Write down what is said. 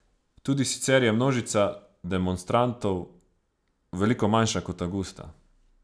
Tudi sicer je množica demonstrantov veliko manjša kot avgusta.